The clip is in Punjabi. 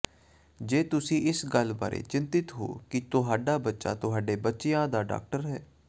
ਜੇ ਤੁਸੀਂ ਇਸ ਗੱਲ ਬਾਰੇ ਚਿੰਤਤ ਹੋ ਕਿ ਤੁਹਾਡਾ ਬੱਚਾ ਤੁਹਾਡੇ ਬੱਚਿਆਂ ਦਾ ਡਾਕਟਰ ਹੈ